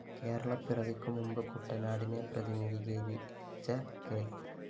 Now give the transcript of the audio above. കേരളപ്പിറവിക്കു മുമ്പ് കുട്ടനാടിനെ പ്രതിനിധീകരിച്ച കെ